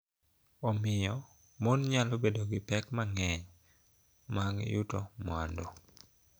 Omiyo, mon nyalo bedo gi pek mang�eny mag yuto mwandu.